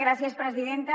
gràcies presidenta